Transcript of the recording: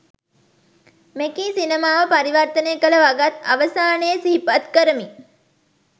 මෙකී සිනමාව පරිවර්තනය කළ වගත් අවසානයේ සිහිපත් කරමි.